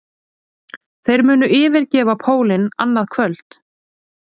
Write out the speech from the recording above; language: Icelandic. Þeir munu yfirgefa pólinn annað kvöld